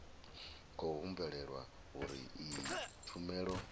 khou humbulelwa uri iyi tshumelo